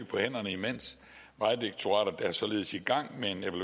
på hænderne imens vejdirektoratet er således i gang